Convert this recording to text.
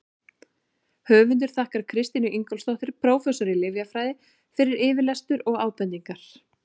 Höfundur þakkar Kristínu Ingólfsdóttur, prófessor í lyfjafræði, fyrir yfirlestur og ábendingar.